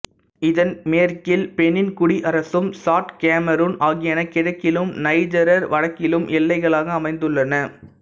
இதன் மேற்கில் பெனின் குடியரசும் சாட் கேமரூன் ஆகியன கிழக்கிலும் நைஜர் வடக்கிலும் எல்லைகளாக அமைந்துள்ளன